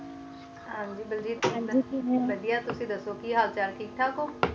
ਹਨ ਜੀ ਬਲਜੀ ਜੀ ਵੱਡੀਆਂ ਤੁਸੀ ਦੱਸੋ ਕਿ ਹਾਲ ਚਾਲ ਠੀਕ ਹੋ